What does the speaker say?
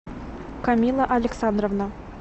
камилла александровна